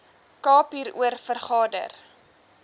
kaap hieroor vergader